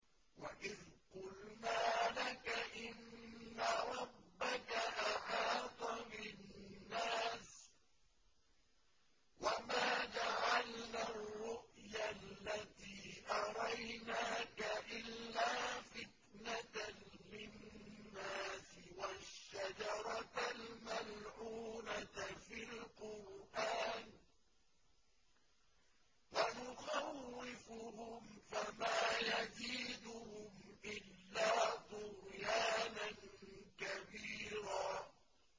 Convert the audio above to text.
وَإِذْ قُلْنَا لَكَ إِنَّ رَبَّكَ أَحَاطَ بِالنَّاسِ ۚ وَمَا جَعَلْنَا الرُّؤْيَا الَّتِي أَرَيْنَاكَ إِلَّا فِتْنَةً لِّلنَّاسِ وَالشَّجَرَةَ الْمَلْعُونَةَ فِي الْقُرْآنِ ۚ وَنُخَوِّفُهُمْ فَمَا يَزِيدُهُمْ إِلَّا طُغْيَانًا كَبِيرًا